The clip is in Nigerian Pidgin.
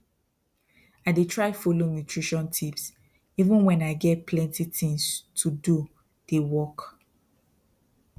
i dey try follow nutrition tips even when i get plenty things to doe dey work